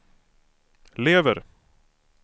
lever